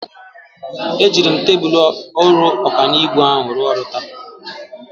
Ejiri m tebụl ọrụ ọkanibo ahụ rụọ ọrụ taa.